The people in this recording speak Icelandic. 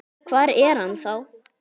Hvar er hann þá?